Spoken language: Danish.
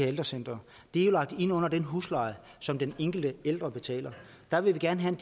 af ældrecentrene er lagt ind under den husleje som den enkelte ældre betaler der vil vi gerne have